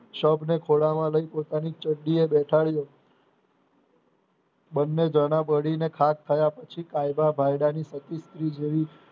શબને ખોળામાં લઇ પોતાની બેઠાડયો બને જણા બળીને રાખ થયા પછી કાયદા ભાઇડાની પતિ સ્ત્રી જેવી